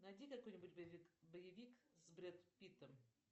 найди какой нибудь боевик с бред питтом